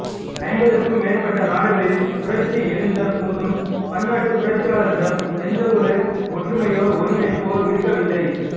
ஐம்பதுக்கும் மேற்பட்ட நாடுகளில் புரட்சி எழுந்த போதும் பன்னாட்டு புரட்சியாளர்களிடம் எந்தவொரு ஒற்றுமையோ ஒருங்கிணைப்போ இருக்கவில்லை